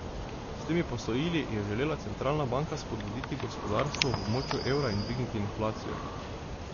S temi posojili je želela centralna banka spodbuditi gospodarstvo v območju evra in dvigniti inflacijo.